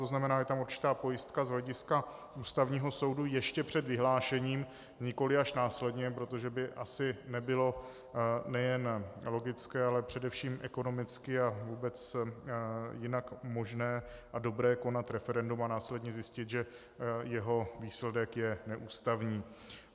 To znamená, je tam určitá pojistka z hlediska Ústavního soudu ještě před vyhlášením, nikoliv až následně, protože by asi nebylo nejen logické, ale především ekonomicky a vůbec jinak možné a dobré konat referendum a následně zjistit, že jeho výsledek je neústavní.